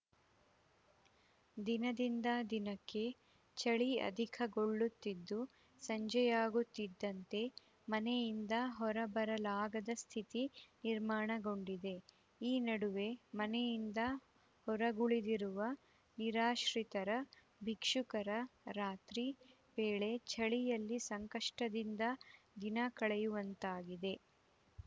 ದಿನದಿಂದ ದಿನಕ್ಕೆ ಚಳಿ ಅಧಿಕಗೊಳ್ಳುತ್ತಿದ್ದು ಸಂಜೆಯಾಗುತ್ತಿದ್ದಂತೆ ಮನೆಯಿಂದ ಹೊರಬರಲಾಗದ ಸ್ಥಿತಿ ನಿರ್ಮಾಣಗೊಂಡಿದೆ ಈ ನಡುವೆ ಮನೆಯಿಂದ ಹೊರಗುಳಿದಿರುವ ನಿರಾಶ್ರಿತರು ಭಿಕ್ಷುಕರು ರಾತ್ರಿ ವೇಳೆ ಚಳಿಯಲ್ಲಿ ಸಂಕಷ್ಟದಿಂದ ದಿನ ಕಳೆಯುವಂತಾಗಿದೆ